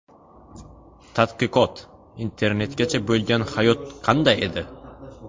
Tadqiqot: Internetgacha bo‘lgan hayot qanday edi?.